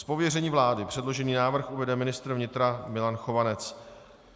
Z pověření vlády předložený návrh uvede ministr vnitra Milan Chovanec.